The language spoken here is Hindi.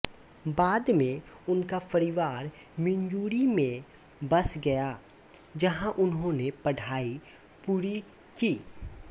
बाद में उनका परिवार मिज़ूरी में बस गया जहाँ उन्होंने पढ़ाई पूरी की